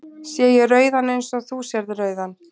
Sé ég rauðan eins og þú sérð rauðan?